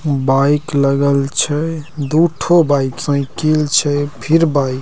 bike लगल छै दू ठो बाइक साइकिल छै फिर बाइक ----